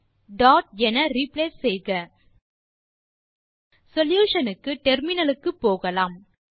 இன் email solution க்கு terminal க்கு போகலாம்